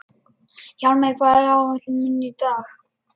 Hjálmveig, hvað er á áætluninni minni í dag?